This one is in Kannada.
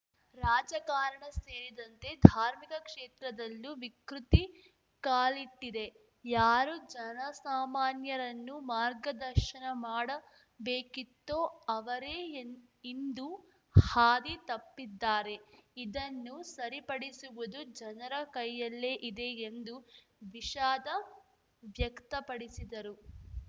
ರಾಜಕಾರಣ ಸೇರಿದಂತೆ ಧಾರ್ಮಿಕ ಕ್ಷೇತ್ರದಲ್ಲೂ ವಿಕೃತಿ ಕಾಲಿಟ್ಟಿದೆ ಯಾರು ಜನಸಾಮಾನ್ಯರನ್ನು ಮಾರ್ಗದರ್ಶನ ಮಾಡಬೇಕಿತ್ತೋ ಅವರೇ ಇನ್ ಇಂದು ಹಾದಿ ತಪ್ಪಿದ್ದಾರೆ ಇದನ್ನು ಸರಿಪಡಿಸುವುದು ಜನರ ಕೈಯಲ್ಲೇ ಇದೆ ಎಂದು ವಿಷಾದ ವ್ಯಕ್ತಪಡಿಸಿದರು